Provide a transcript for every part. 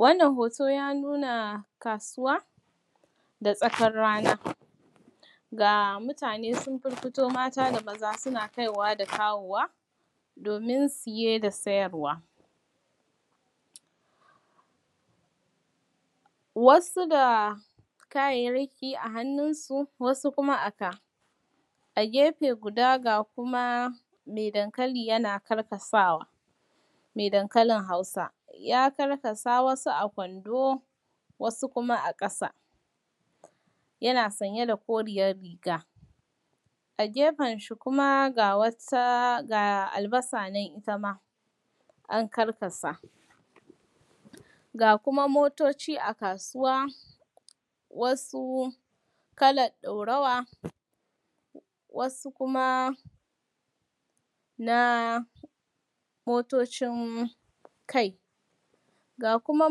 Wannan hoto ya nuna kasuwa, da tsakar rana. Ga mutane sun firfito mata da maza suna kaiwa da kawowa domin siye da sayarwa. Wasu da kayayyaki a hannunsu; wasu kuma a ka. A gefe guda ga kuma mai dankali yana karkasawa, mai dankalin Hausa. Ya karkasa, wasu a kwando, wasu kuma a ƙasa, yana sanye da koriyar riga. A gefenshi kuma, ga albasa nan ita ma an karkasa. Ga kuma motoci a kasuwa, wasu kalar ɗorawa; wasu kuma na motocin kai. Ga kuma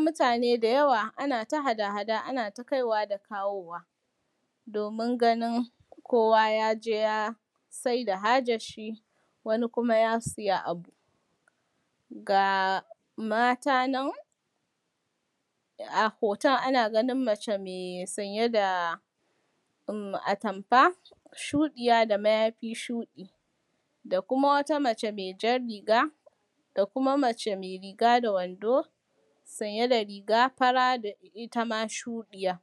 mutane da yawa ana ta hada-hada, ana ta kaiwa da kawowa, domin ganin kowa ya je ya sai da hajarshi, wani kuma ya siya a gun. Ga mata nan, a hoton ana ganin mace mai sanye da uhm, atamfa shuɗiya da mayafi shuɗi; da kuma wata mace mai jar riga; da kuma mace mai riga da wando, sanye da riga fara da ita ma shuɗiya.